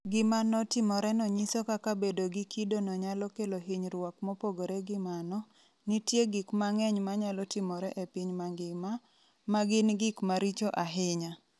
Gima notimoreno nyiso kaka bedo gi kidono nyalo kelo hinyruok Mopogore gi mano, nitie gik mang'eny manyalo timore e piny mangima, ma gin gik maricho ahinya.